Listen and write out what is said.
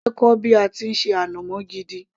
mo fẹ́ kọ́ bí a ti ń ṣe ànàmọ́ gidi